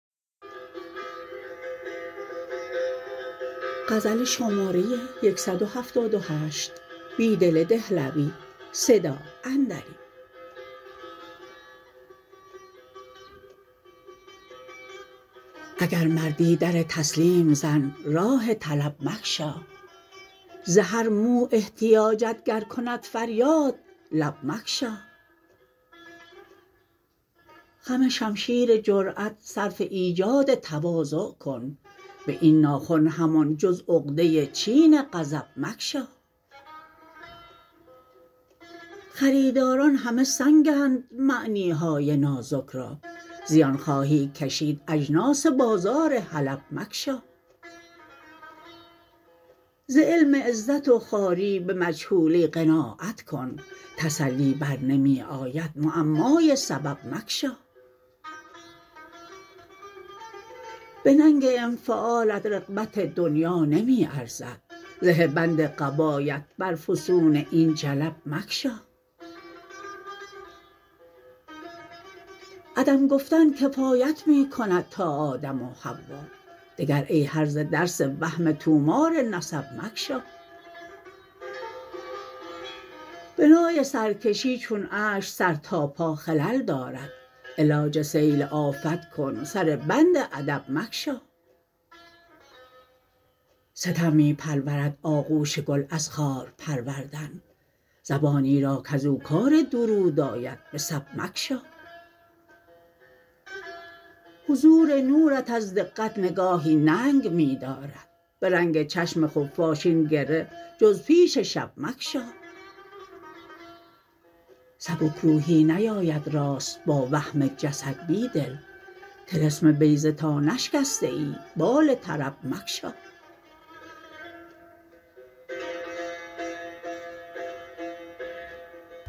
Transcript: اگر مردی در تسلیم زن راه طلب مگشا ز هر مو احتیاجت گر کند فریاد لب مگشا خم شمشیر جرأت صرف ایجاد تواضع کن به این ناخن همان جز عقده چین غضب مگشا خریداران همه سنگند معنی های نازک را زبان خواهی کشید اجناس بازار حلب مگشا ز علم عزت و خواری به مجهولی قناعت کن تسلی برنمی آید معمای سبب مگشا به ننگ انفعالت رغبت دنیا نمی ارزد زه بند قبایت بر فسون این جلب مگشا عدم گفتن کفایت می کند تا آدم و حوا دگر این هرزه درس وهم طو مار نسب مگشا بنای سرکشی چون اشک سر تا پا خلل دارد علاج سیل آفت کن سر بند ادب مگشا ستم می پرورد آغوش گل از خار پروردن زبانی را کز او کار درود آید به سب مگشا حضور نورت از دقت نگاهی ننگ می دارد به رنگ چشم خفاش این گره جز پیش شب مگشا سبک روحی نیاید راست با وهم جسد بیدل طلسم بیضه تا نشکسته ای بال طرب مگشا